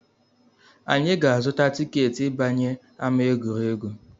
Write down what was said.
Anyị ga-azụta tiketi ịbanye ama egwuregwu